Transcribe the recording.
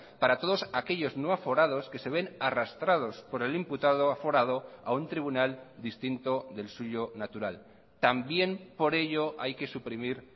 para todos aquellos no aforados que se ven arrastrados por el imputado aforado a un tribunal distinto del suyo natural también por ello hay que suprimir